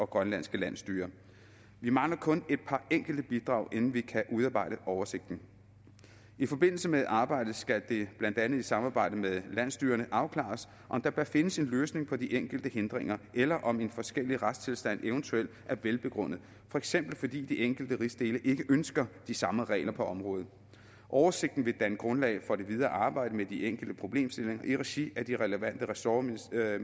grønlandske landsstyre vi mangler kun et par enkelte bidrag inden vi kan udarbejde oversigten i forbindelse med arbejdet skal det blandt andet i samarbejde med landsstyrerne afklares om der bør findes en løsning på de enkelte hindringer eller om en forskellig retstilstand eventuelt er velbegrundet for eksempel fordi de enkelte rigsdele ikke ønsker de samme regler på området oversigten vil danne grundlag for det videre arbejde med de enkelte problemstillinger i regi af de relevante ressortministerier